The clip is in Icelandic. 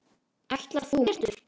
Ætlar þú með mér Teitur!